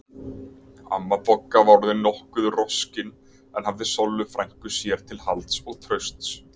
Amma Bogga var orðin nokkuð roskin en hafði Sollu frænku sér til halds og trausts.